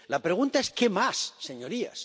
La pregunta es ¿qué más, señorías?